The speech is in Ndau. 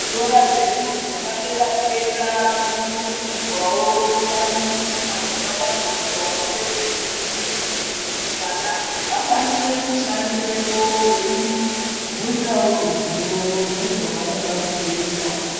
Zvikora zvedu zvepadera-dera zvinokurudzirwawo kuva nemichina dzakavandudzwa, uye nezvivhiti-vhiti zvokuti vana vakwanise kushandirepo, veyi bvunzawo ruzivo nezvavanoda kuzoyita.